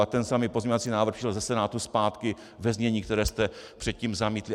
A ten samý pozměňovací návrh přišel ze Senátu zpátky ve znění, které jste předtím zamítli.